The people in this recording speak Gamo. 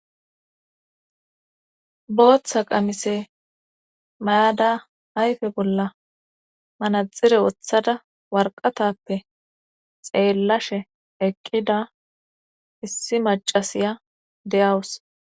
Boththa qamise mayada hayfe bolla manaxire woththada warqatappe xeellashe eqqida issi macasiya deyawus.